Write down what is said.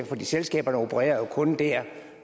for selskaberne opererer jo kun der